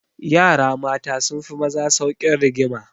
Yara mata sun fi maza saukin rigima.